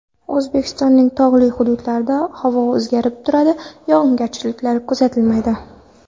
O‘zbekistonning tog‘li hududlari Havo o‘zgarib turadi, yog‘ingarchiliklar kuzatilmaydi.